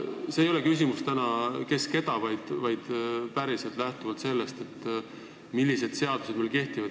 See ei ole küsimus, kes keda, vaid ma küsin lähtuvalt sellest, millised seadused meil kehtivad.